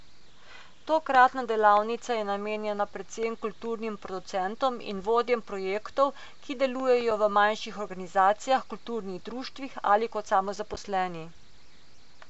Tokratna delavnica je namenjena predvsem kulturnim producentom in vodjem projektov, ki delujejo v manjših organizacijah, kulturnih društvih ali kot samozaposleni.